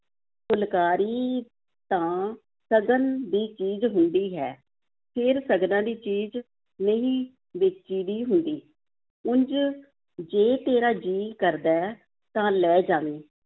ਫੁਲਕਾਰੀ ਤਾਂ ਸਗਨ ਦੀ ਚੀਜ਼ ਹੁੰਦੀ ਹੈ, ਫੇਰ ਸਗਨਾਂ ਦੀ ਚੀਜ਼ ਨਹੀਂ ਵੇਚੀ ਦੀ ਹੁੰਦੀ, ਉਂਞ ਜੇ ਤੇਰਾ ਜੀਅ ਕਰਦਾ ਹੈ ਤਾਂ ਲੈ ਜਾਵੀਂ